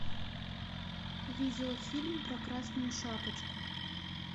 видеофильм про красную шапочку